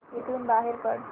इथून बाहेर पड